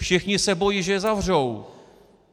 Všichni se bojí, že je zavřou.